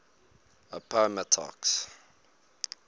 appomattox